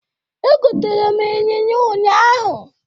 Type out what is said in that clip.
Egotere m ịnyịnya ụnyaahụ.